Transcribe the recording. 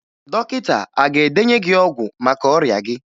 Dọkịta a ga-edenye gị ọgwụ maka ọrịa gị?